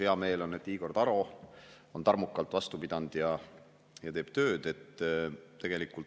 Hea meel on, et Igor Taro on tarmukalt vastu pidanud ja teeb tööd.